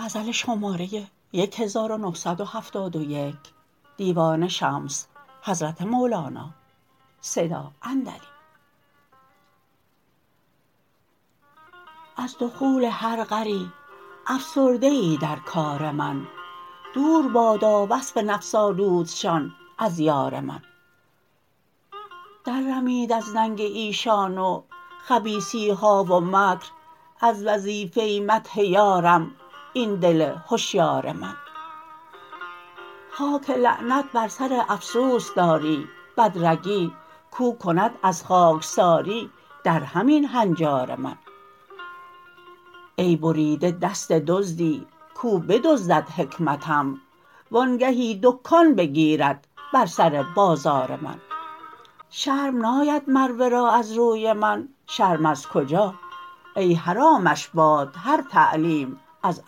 از دخول هر غری افسرده ای در کار من دور بادا وصف نفس آلودشان از یار من دررمید از ننگ ایشان و خبیثی ها و مکر از وظیفه مدح یارم این دل هشیار من خاک لعنت بر سر افسوس داری بدرگی کو کند از خاکساری درهم این هنجار من ای بریده دست دزدی کو بدزدد حکمتم و آنگهی دکان بگیرد بر سر بازار من شرم ناید مر ورا از روی من شرم از کجا ای حرامش باد هر تعلیم از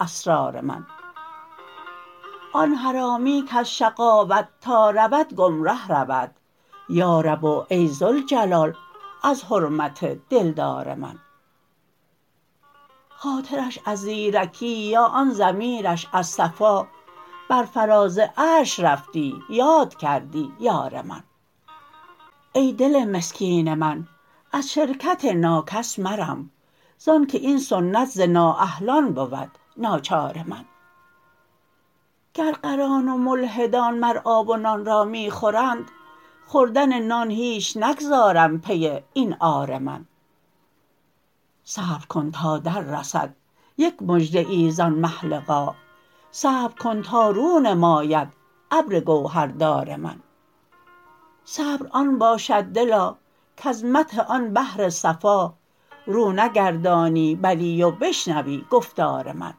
اسرار من آن حرامی کز شقاوت تا رود گمره رود یا رب و ای ذوالجلال از حرمت دلدار من خاطرش از زیرکی یا آن ضمیرش از صفا بر فراز عرش رفتی یاد کردی یار من ای دل مسکین من از شرکت ناکس مرم زانک این سنت ز نااهلان بود ناچار من گر غران و ملحدان مر آب و نان را می خورند خوردن نان هیچ نگذارم پی این عار من صبر کن تا دررسد یک مژده ای زان مه لقا صبر کن تا رو نماید ابر گوهردار من صبر آن باشد دلا کز مدح آن بحر صفا رو نگردانی بلی و بشنوی گفتار من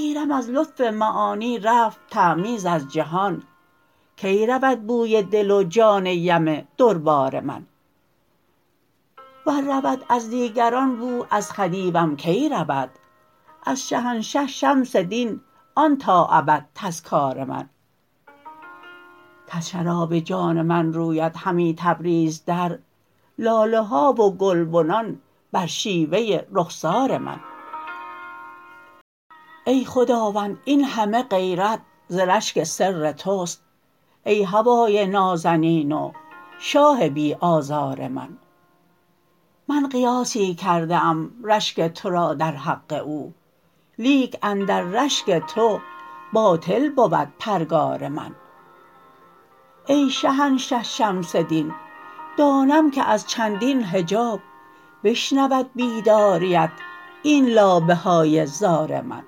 گیرم از لطف معانی رفت تمییز از جهان کی رود بوی دل و جان یم دربار من ور رود از دیگران بو از خدیوم کی رود از شهنشه شمس دین آن تا ابد تذکار من کز شراب جان من رویدهمی تبریز در لاله ها و گلبنان بر شیوه رخسار من ای خداوند این همه غیرت ز رشک سر توست ای هوای نازنین و شاه بی آزار من من قیاسی کرده ام رشک تو را در حق او لیک اندر رشک تو باطل بود پرگار من ای شهنشه شمس دین دانم که از چندین حجاب بشنود بیداریت این لابه های زار من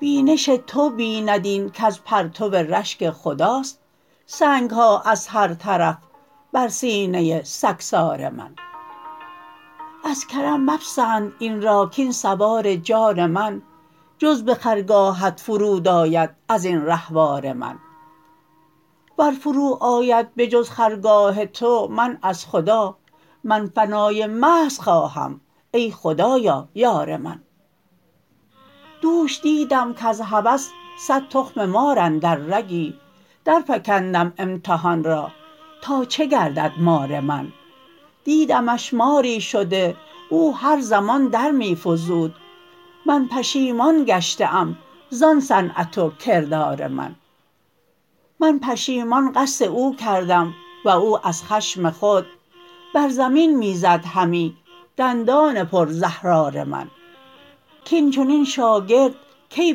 بینش تو بیند این کز پرتو رشک خداست سنگ ها از هر طرف بر سینه سگسار من از کرم مپسند این را کاین سوار جان من جز به خرگاهت فرود آید از این رهوار من ور فروآید به جز خرگاه تو من از خدا من فنای محض خواهم ای خدایا یار من دوش دیدم کز هوس صد تخم مار اندر رگی درفکندم امتحان را تا چه گردد مار من دیدمش ماری شده او هر زمان در می فزود من پشیمان گشته ام زان صنعت و کردار من من پشیمان قصد او کردم و او از خشم خود بر زمین می زد همی دندان پرزهرار من کاین چنین شاگردکی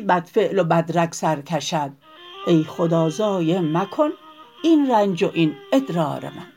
بدفعل و بدرگ سر کشد ای خدا ضایع مکن این رنج و این ادرار من